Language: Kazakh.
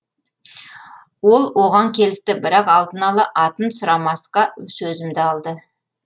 ол оған келісті бірақ алдын ала атын сұрамасқа сөзімді алды